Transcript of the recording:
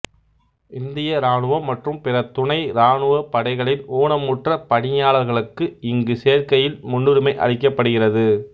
இந்திய இராணுவம் மற்றும் பிற துணை ராணுவப் படைகளின் ஊனமுற்ற பணியாளர்களுக்கு இங்கு சேர்க்கையில் முன்னுரிமை அளிக்கப்படுகிறது